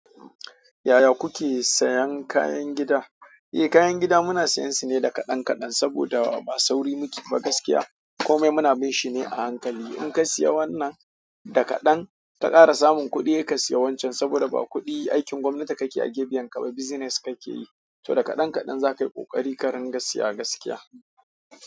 Yaya kuke sayan kayan gida? Eh kayan gida muna siyan su ne da kaɗan kaɗan saboda ba sauri muke ba gaskiya. Komai muna binshi ne a hankali. In ka siya wannan da kaɗan, in ka ƙara samun kuɗi, saika siya wancan saboda ba kuɗi aikin gwamnati ka ke a ke biyan ka ba, business ka ke yi. To da kaɗan kaɗan za ka yi ƙoƙari karin ga siya gaskiya.